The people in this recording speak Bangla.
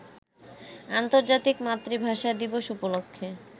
আন্তর্জাতিক মাতৃভাষা দিবস উপলক্ষে